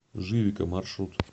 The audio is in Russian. живика маршрут